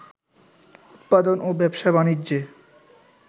উৎপাদন ও ব্যবসা-বাণিজ্যে